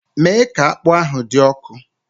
Mee ka akpu ahụ dị ọkụ!